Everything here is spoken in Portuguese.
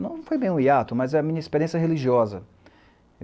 Não foi bem um hiato, mas é a minha experiência religiosa.